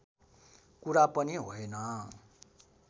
कुरा पनि होइन